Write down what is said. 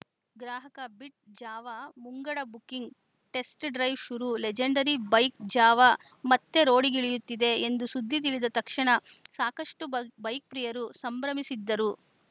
ಗ್ರಾಹಕ ಬಿಟ್‌ ಜಾವಾ ಮುಂಗಡ ಬುಕ್ಕಿಂಗ್‌ ಟೆಸ್ಟ್ ಡ್ರೈವ್‌ ಶುರು ಲೆಜೆಂಡರಿ ಬೈಕ್‌ ಜಾವ ಮತ್ತೆ ರೋಡಿಗಿಳಿಯುತ್ತಿದೆ ಎಂದು ಸುದ್ದಿ ತಿಳಿದ ತಕ್ಷಣ ಸಾಕಷ್ಟು ಬ್ ಬೈಕ್‌ ಪ್ರಿಯರು ಸಂಭ್ರಮಿಸಿದ್ದರು